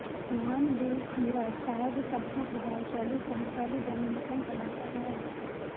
Juan Luis Guerra ਸ਼ਾਇਦ ਸਭ ਤੋਂ ਪ੍ਰਭਾਵਸ਼ਾਲੀ ਸਮਕਾਲੀ ਡੋਮਿਨਿਕਨ ਕਲਾਕਾਰ ਹੈ